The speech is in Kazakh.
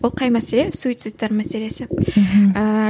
ол қай мәселе суицидтар мәселесі мхм ііі